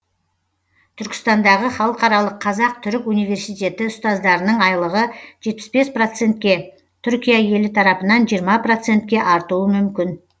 түркістандағы халықаралық қазақ түрік университеті ұстаздарының айлығы жетпіс бес процентке түркия елі тарапынан жиырма процентке артуы мүмкін